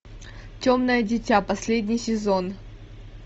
темное дитя последний сезон